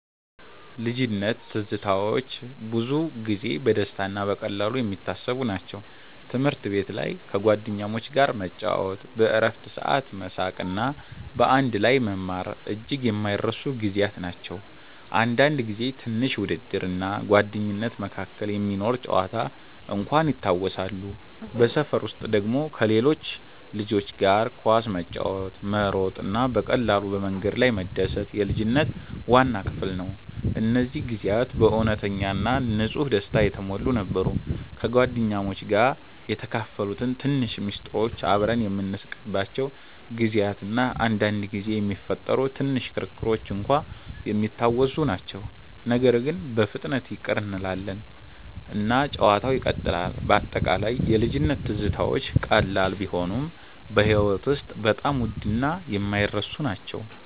ልጅነት ትዝታዎች ብዙ ጊዜ በደስታ እና በቀላሉ የሚታሰቡ ናቸው። ትምህርት ቤት ላይ ከጓደኞች ጋር መጫወት፣ በእረፍት ሰዓት መሳቅ እና በአንድ ላይ መማር እጅግ የማይረሱ ጊዜያት ናቸው። አንዳንድ ጊዜ ትንሽ ውድድር እና ጓደኝነት መካከል የሚኖር ጨዋታ እንኳን ይታወሳሉ። በሰፈር ውስጥ ደግሞ ከሌሎች ልጆች ጋር ኳስ መጫወት፣ መሮጥ እና በቀላሉ በመንገድ ላይ መደሰት የልጅነት ዋና ክፍል ነው። እነዚህ ጊዜያት በእውነተኛ እና ንጹህ ደስታ የተሞሉ ነበሩ። ከጓደኞች ጋር የተካፈሉት ትንሽ ምስጢሮች፣ አብረን የምንስቅባቸው ጊዜያት እና አንዳንድ ጊዜ የሚፈጠሩ ትንሽ ክርክሮች እንኳን የሚታወሱ ናቸው። ነገር ግን በፍጥነት ይቅር እንላለን እና ጨዋታው ይቀጥላል። በአጠቃላይ የልጅነት ትዝታዎች ቀላል ቢሆኑም በሕይወት ውስጥ በጣም ውድ እና የማይረሱ ናቸው።